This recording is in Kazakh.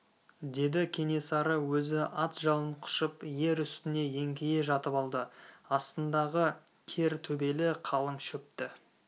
деді кенесары өзі ат жалын құшып ер үстіне еңкейе жатып алды астындағы кер төбелі қалың шөпті